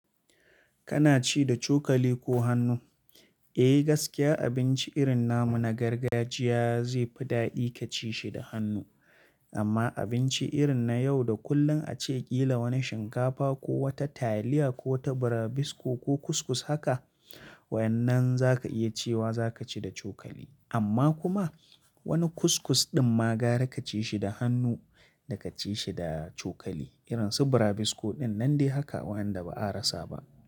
Kana ci da cokali ko hannu? Eh gaskiya abinci irin na mu na gargajiya zai fi daɗi ka ci shi da hannu. Amma abinci irin na yau da kullum a ce ƙila wani shinkafa ko wata taliya ko wata braibisco ko kuskus haka waɗannan za ka iya cewa za ka ci da cokali. Amma kuma wani kuskus ɗin ma gara ka ci shi da hannu da ka ci shi da cokali. Irin su braibisco ɗin nan dai haka waɗanda ba a rasa ba.